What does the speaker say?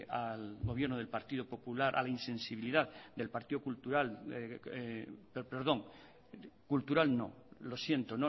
al gobierno del partido popular a la insensibilidad del partido cultural perdón cultural no lo siento